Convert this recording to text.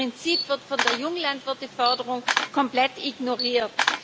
Dieses Prinzip wird von der Junglandwirteförderung komplett ignoriert.